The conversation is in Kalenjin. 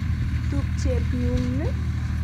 Tupchet ng'ung' ni.